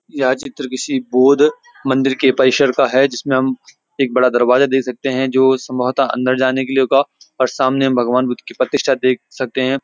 यह चित्र किसी बौद्ध मंदिर के परिसर का है जिसमें हम एक बड़ा दरवाजा देख सकते हैं जो संभवत अंदर जाने के लिए होगा और सामने हम भगवान बुद्ध की प्रतिष्ठा देख सकते हैं।